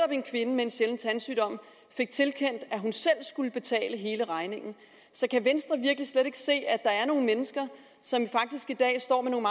at en kvinde med en sjælden tandsygdom selv skulle betale hele regningen så kan venstre virkelig slet ikke se at der er nogle mennesker som faktisk i dag står med nogle